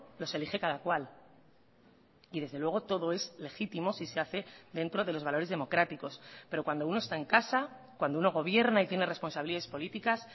los elige cada cual y desde luego todo es legítimo si se hace dentro de los valores democráticos pero cuando uno está en casa cuando uno gobierna y tiene responsabilidades políticas